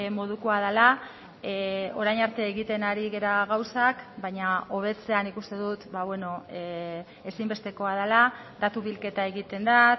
modukoa dela orain arte egiten ari gara gauzak baina hobetzea nik uste dut ezinbestekoa dela datu bilketa egiten da